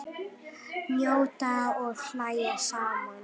Njóta og hlæja saman.